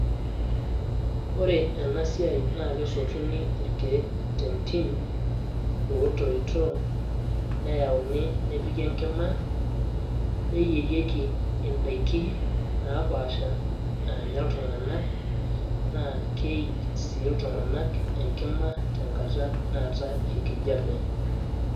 Ore enasiai na kesotuni irkeek tentim otoito, neyauni ,nepiki enkima, neyierieki idaiki napaasha naanya iltung'anak, na keij si iltung'anak enkima tenkata naatae enkijape.